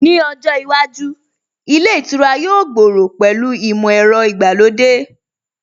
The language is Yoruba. Ní ojó iwájú, ilé ìtura yóò gbòòrò pẹ̀lú ìmọ̀ ẹ̀rọ ìgbàlódé